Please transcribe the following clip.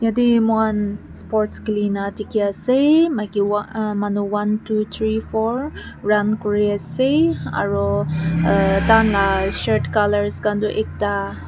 Ati moihan sports khele kena dekhe ase maki wha uh manu one two three four run kure ase aro uh taihan la shirt colours khan tu ekta.